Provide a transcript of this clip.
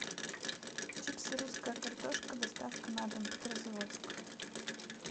чипсы русская картошка доставка на дом петрозаводск